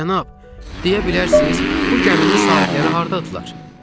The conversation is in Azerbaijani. Cənab, deyə bilərsiniz bu gəminin sahibləri hardadırlar?